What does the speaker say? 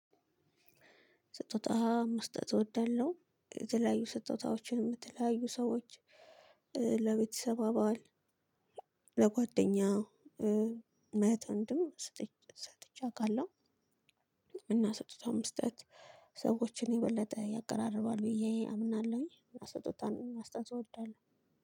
ስጦታ መስጠት እወዳለሁ የተለያዩ ስጦታዎችን ለተለያዩ ሰዎች ለቤተሰብ አባል ለጓደኛ ለህት ወንድም ሰጥቼ አውቃለሁ። እና ስጦታ መስጠት ሰዎችን የበለጠ ያቀራርባል ብዬ አምናለሁኝ። እና ስጦታን መስጠት እወዳለሁ።